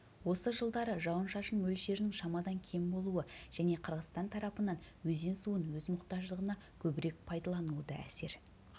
осы жылдары жауын-шашын мөлшерінің шамадан кем болуы және қырғызстан тарапынан өзен суын өз мұқтаждығына көбірек пайдалануы да әсер